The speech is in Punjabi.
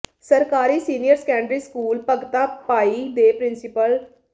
ਸਰਕਾਰੀ senior secondary school Bhagta Bhai ਦੇ ਪ੍ਰਿੰਸੀਪਲ ਡਾ